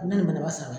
Ne nana ba sara